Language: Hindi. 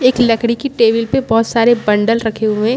एक लकड़ी की टेबल पे बहुत सारे बंडल रखे हुए --